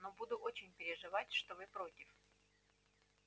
но буду очень переживать что вы против